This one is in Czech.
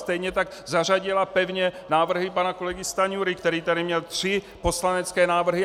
Stejně tak zařadila pevně návrhy pana kolegy Stanjury, který tady měl tři poslanecké návrhy.